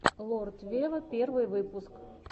лорд вево первый выпуск